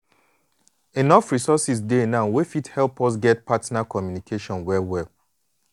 enough resources dey now wey fit help us get partner communication well well